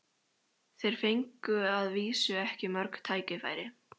Þeir fengu að vísu ekki mörg tækifæri.